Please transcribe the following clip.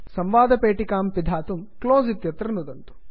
संवादपेटिकां पिधातुं close close इत्यत्र नुदन्तु